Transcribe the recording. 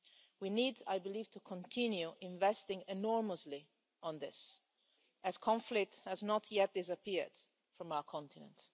We need I believe to continue investing enormously on this, as conflict has not yet disappeared from our continent.